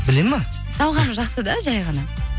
біледі ме талғамы жақсы да жай ғана